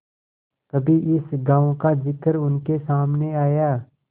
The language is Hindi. कभी इस गॉँव का जिक्र उनके सामने आया